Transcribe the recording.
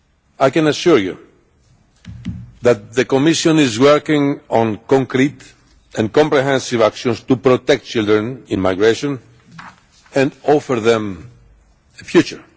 I can assure you that the Commission is working on concrete and comprehensive actions to protect children in migration and offer them a future.